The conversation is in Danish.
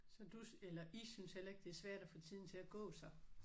Så du eller I synes heller ikke det er svært at få tiden til at gå så?